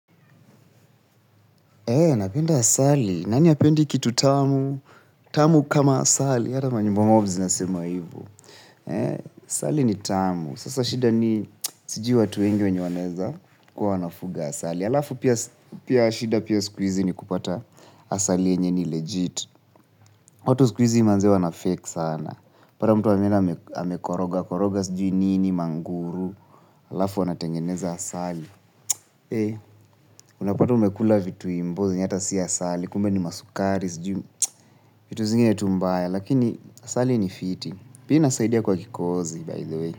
Eeeh, napenda asali. Nani hapendi kitu tamu? Tamu kama asali. Hata manyimbo mob zinasema hivo. Eeeh, asali ni tamu. Sasa shida ni sijui watu wengi wenye wanaeza kuwa wanafuga asali. Alafu pia shida siku hizi ni kupata asali yenye ni legit. Watu siku hizi manze wanafake sana. Utapata mtu ameenda amekoroga, koroga sijui nini manguru. Alafu wanatengeneza asali. Eeenh, unapata umekula vitu imboo zenya ata si asali, kumbe ni masukari, vitu zingine tu mbaya, lakini asali ni fiti, pia inasaidia kwa kikohozi by the way.